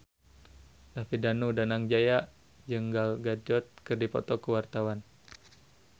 David Danu Danangjaya jeung Gal Gadot keur dipoto ku wartawan